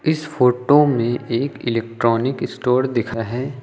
इस फोटो में एक इलेक्ट्रॉनिक स्टोर दिख रहा है।